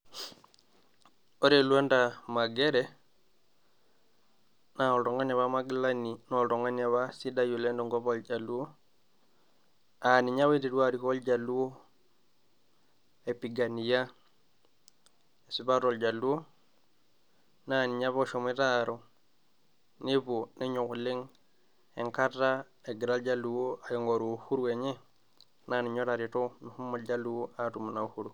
Ore Lwanda Magere naa oltung'ani opa magilani, oltung'ani opa sidai tenkop oo ljaluo, aa ninye opa oiterua arikoo iljaluo, aipigania esipata ooljaluo, naa ninye opa oshomoito aaru. Nepuo nenyok oleng' enkata egira iljaluo aing'oru uhuru enye naa ninye otareto meshomo iljaluo aatum ina uhuru.